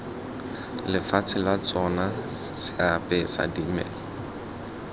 lefatshe la tsona seapesa dimela